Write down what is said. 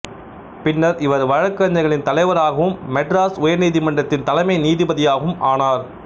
பின்னர் இவர் வழக்கறிஞர்களின் தலைவரகவும் மெட்ராஸ் உயர் நீதிமன்றத்தின் தலைமை நீதிபதியாகவும் ஆனார்